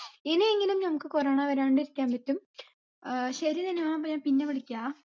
ഇനിയെങ്കിലും നമ്മുക്ക് corona വരാണ്ട് ഇരിക്കാൻ പറ്റും ഏർ ശരി നനിമ്മ പിന്നെ വിളിക്കാ